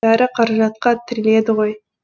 бәрі қаражатқа тіреледі ғой